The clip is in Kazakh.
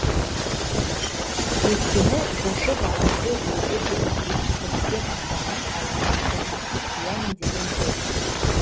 өйткені жошы баламды өлді деп естірткен адамның аузына қорғасын құямын деген ғой